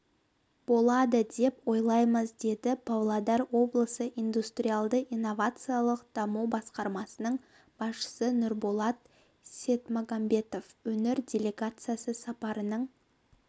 болады деп ойлаймыз деді павлодар облысы индустриалды-инновациялық даму басқарамсының басшысы нұрболат сетмагамбетов өңір делегациясы сапарының